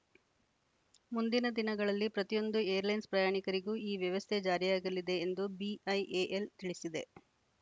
ಮುಂದಿನ ದಿನಗಳಲ್ಲಿ ಪ್ರತಿಯೊಂದು ಏರ್‌ಲೈನ್ಸ್‌ ಪ್ರಯಾಣಿಕರಿಗೂ ಈ ವ್ಯವಸ್ಥೆ ಜಾರಿಯಾಗಲಿದೆ ಎಂದು ಬಿಐಎಎಲ್‌ ತಿಳಿಸಿದೆ